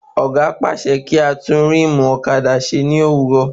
Ọ̀gá pàṣẹ kí á tún ríìmù ọ̀kadà ṣe ní àárò